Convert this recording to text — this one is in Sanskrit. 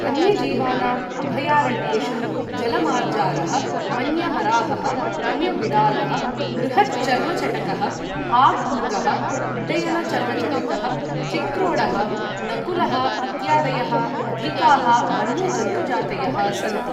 वन्यजीवानाम् अभयारण्येषु जल मार्जारः, वन्य वराहः, वन्यबिडालः, बृहत् चर्मचटकः, हाग् मृगः, उड्डयन चर्मचटकः, चिक्रोडः, नकुलः इत्यादयः अधिकाः वन्यजन्तुजातयः सन्ति।